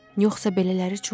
Yoxsa belələri çoxdur?